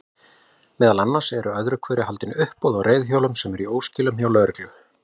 Meðal annars eru öðru hverju haldin uppboð á reiðhjólum sem eru í óskilum hjá lögreglunni.